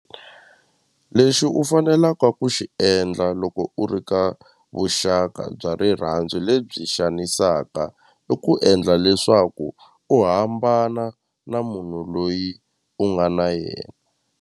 Lexi u fanelaka ku xi endla loko u ri ka vuxaka bya rirhandzu lebyi xanisaka i ku endla leswaku u hambana na munhu loyi u nga na yena.